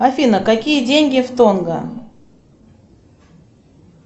афина какие деньги в тонга